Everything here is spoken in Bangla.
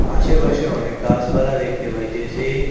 আশেপাশে অনেক গাসপালা দেখতে পাইতেসি।